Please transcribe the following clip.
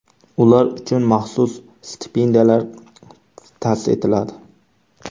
Ular uchun maxsus stipendiyalar ta’sis etiladi.